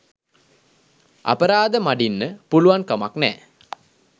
අපරාධ මඩින්න පුළුවන් කමක් නෑ.